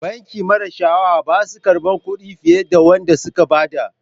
Banki mara sha'awa bassuwa karban Kudi fiyar da Wanda sun badda.